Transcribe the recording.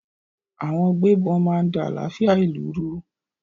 Àwọn gbébọn máa ń da àlàáfíà ìlú rú.